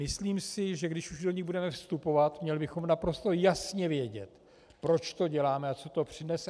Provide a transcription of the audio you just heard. Myslím si, že když už do ní budeme vstupovat, měli bychom naprosto jasně vědět, proč to děláme a co to přinese.